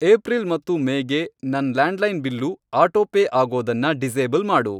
April ಮತ್ತು May ಗೆ ನನ್ ಲ್ಯಾಂಡ್ಲೈನ್ ಬಿಲ್ಲು ಆಟೋಪೇ ಆಗೋದನ್ನ ಡಿಸೇಬಲ್ ಮಾಡು.